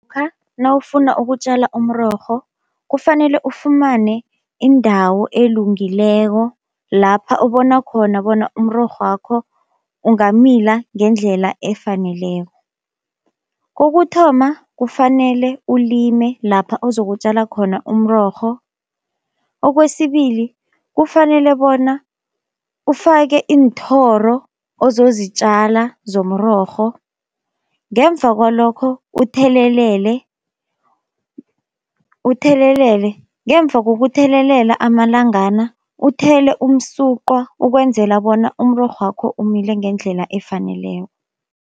Nawufuna ukutjala umrorho kufanele ufumane indawo elungileko lapha ubona khona bona umrorho wakho ungamila ngendlela efaneleko. Kokuthoma kufanele ulime lapha ozokutjala khona umrorho, okwesibili kufanele bona ufake iinthoro ozozitjala zomrorho ngemva kwalokho uthelelele. Uthelelele ngemva kokuthelelela amalangana, uthele umsuqwa ukwenzela bona umrorho wakho umile ngendlela efaneleko.